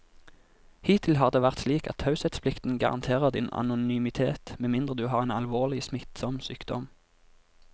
Hittil har det vært slik at taushetsplikten garanterer din anonymitet med mindre du har en alvorlig, smittsom sykdom.